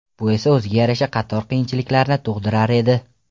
Bu esa o‘ziga yarasha qator qiyinchiliklarni tug‘dirar edi.